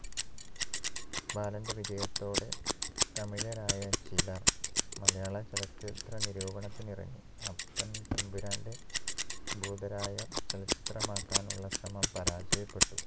ബാലന്റെ വിജയത്തോടെ തമിഴരായ ചിലർ മലയാള ചലച്ചിത്ര നിരൂപണത്തിനിറങ്ങി അപ്പൻ തമ്പുരാന്റെ ഭൂതരായ ചലച്ചിത്രമാക്കാനുള്ള ശ്രമം പരാജയപ്പെട്ടു